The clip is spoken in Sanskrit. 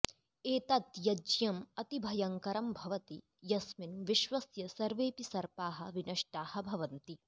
एतत् यज्ञम् अतिभयङ्करं भवति यस्मिन् विश्वस्य सर्वेऽपि सर्पाः विनष्टाः भवन्ति